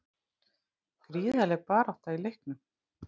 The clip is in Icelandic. Gríðarleg barátta í leiknum